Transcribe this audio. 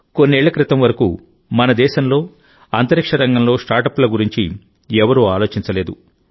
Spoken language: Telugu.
కొన్నేళ్ల క్రితం వరకు మన దేశంలో అంతరిక్ష రంగంలో స్టార్టప్ల గురించి ఎవరూ ఆలోచించలేదు